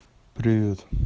привет